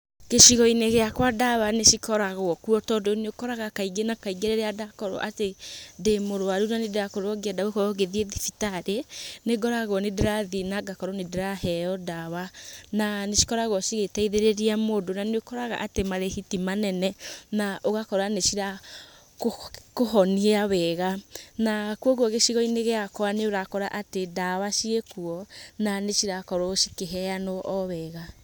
Gĩcigo-inĩ gĩakwa ndawa nĩ cikoragwo kuo tondũ nĩ ũkoraga kaingĩ na kaingĩ rĩrĩa ndakorwo atĩ ndĩ mũrũaru na nĩ ndĩrakorwo ngĩenda gũkorwo ngĩthiĩ thibitarĩ, nĩngoragwo nĩndĩrathiĩ na ngakorwo nĩndĩraheo ndawa, na nicikoragwo cigĩteithĩrĩria mũndũ, na nĩũkoraga atĩ marĩhi ti manene na ũgakora nĩ cirakũhonia wega na kwoguo gĩcigo-inĩ gĩakwa nĩ ũrakora atĩ ndawa ciĩkwo na nĩcirakorwo cikĩheanwo o wega.